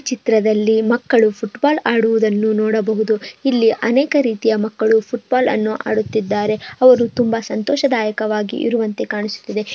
ಚಿತ್ರದಲ್ಲಿ ಮಕ್ಕಳು ಫುಟ್ಬಾಲ್ ಆಡುವುದನ್ನು ನೋಡಬಹುದು ಇಲ್ಲಿ ಅನೇಕ ರೀತಿಯಾ ಮಕ್ಕಳು ಫುಟ್ಬಾಲ್ ಅನ್ನೂ ಆಡುತ್ತಿದ್ದಾರೆ ಅವರು ತುಂಬಾ ಸಂತೋಷದಯಕವಾಗಿ ಇರುವಂತೆ ಕಾಣಿಸುತ್ತಿದೆ.